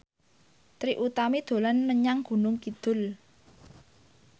Trie Utami dolan menyang Gunung Kidul